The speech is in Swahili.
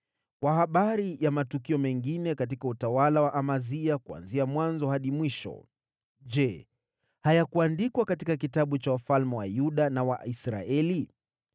Kwa habari ya matukio mengine katika utawala wa Amazia, kuanzia mwanzo hadi mwisho, je, hayakuandikwa katika kitabu cha wafalme wa Yuda na wa Israeli?